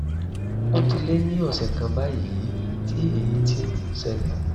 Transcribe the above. ó ti lé ní ọ̀sẹ̀ kan báyìí tí èyí ti ń ṣẹlẹ̀